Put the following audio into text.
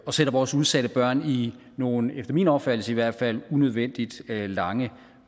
og sætter vores udsatte børn i nogle efter min opfattelse i hvert fald unødvendigt lange